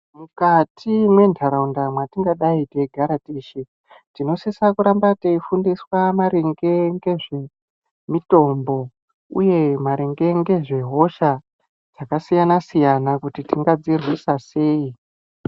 Mukati mwentaraunda mwatingadai teidara teshe tinosisa kuramba teifundiswa maringe ngezve mitombo, uye maringe ngezvehosha dzakasiyana-siyana kuti tingadzirwisa sei.